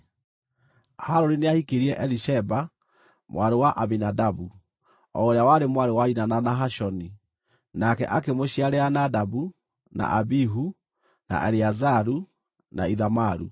Harũni nĩahikirie Elisheba, mwarĩ wa Aminadabu, o ũrĩa warĩ mwarĩ wa nyina na Nahashoni, nake akĩmũciarĩra Nadabu na Abihu, na Eleazaru, na Ithamaru.